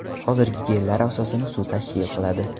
Hozirgi gellar asosini suv tashkil qiladi.